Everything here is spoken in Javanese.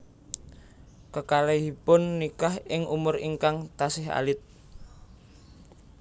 Kekalihipun nikah ing umur ingkang tasih alit